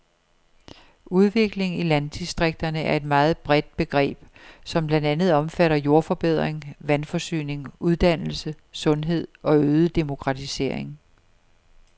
Udvikling i landdistrikterne er et meget bredt begreb, som blandt andet omfatter jordforbedring, vandforsyning, uddannelse, sundhed og øget demokratisering.